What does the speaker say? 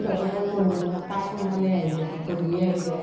তাঁহাতৰ মানে গোন্ধ বিলাক পায় সোনকালে আহি যায়, গধূলী আহি যায়।